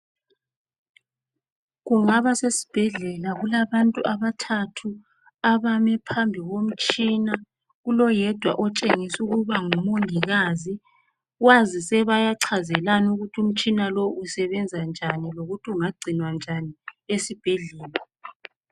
Kungaba sesibhedlela kulabantu abathathu abame phambi komtshina kuloyedwa otshengisa ukuba ngumongikazi kwazise bayachazelana ukuthi umtshina lo usebenza njani lokuthi ungagcinwa njani esibhedlela.